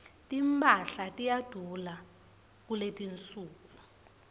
timphahla tiyadula kuletinsuku